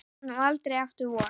Og aldrei aftur vor.